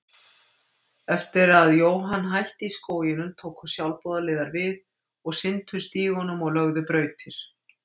Eftir að Johan hætti í skóginum tóku sjálfboðaliðar við og sinntu stígunum og löguðu brautir.